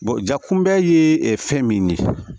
ja kunbɛ ye fɛn min ye